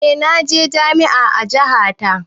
Eh naje jami'a a jaha ta